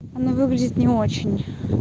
оно выглядит не очень